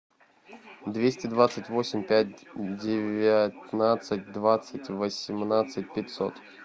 двести двадцать восемь пять девятнадцать двадцать восемнадцать пятьсот